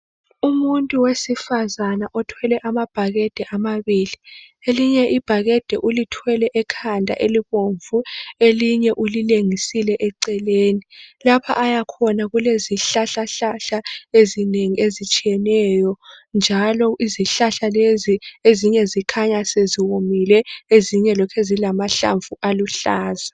Umuntu wesifazana othwele amabhakede amabili. Elinye ibhakede ulithwele ekhanda elibomvu, elinye ulilengisile eceleni. Lapha ayakhona kulezihlahlahlahla ezinengi ezitshiyeneyo. Njalo, izihlahla lezi ezinye zikhanya seziwomile ezinye lokhe zilamahlamvu aluhlaza.